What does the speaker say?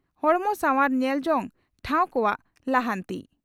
ᱦᱚᱲᱢᱚ ᱥᱟᱣᱟᱨ ᱧᱮᱞ ᱡᱚᱝ ᱴᱷᱟᱣ ᱠᱚᱣᱟᱜ ᱞᱟᱦᱟᱱᱛᱤ